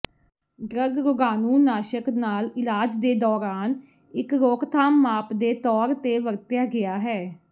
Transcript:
drug ਰੋਗਾਣੂਨਾਸ਼ਕ ਨਾਲ ਇਲਾਜ ਦੇ ਦੌਰਾਨ ਇਕ ਰੋਕਥਾਮ ਮਾਪ ਦੇ ਤੌਰ ਤੇ ਵਰਤਿਆ ਗਿਆ ਹੈ